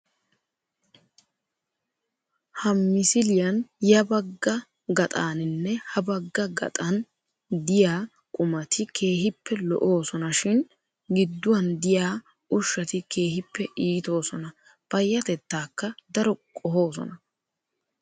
Ha misiliyaan ya bagga gaxaaninne ha bagga gaxan diyaa qumati keehippe lo''oosonashin gidduwaan diyaa ushshati keehippe iitoosona. Payyateettaakka daro qohoosona.